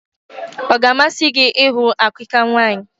Ọ ga-amasị gị ịhụ àkikà nwaanyị?